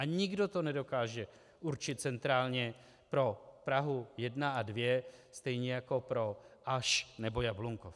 A nikdo to nedokáže určit centrálně pro Prahu 1 a 2 stejně jako pro Aš nebo Jablunkov.